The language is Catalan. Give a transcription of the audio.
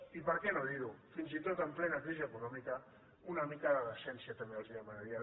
i per què no dir ho fins i tot en plena crisi econòmica una mica de decència també els demanaria